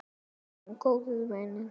Við erum góðir vinir.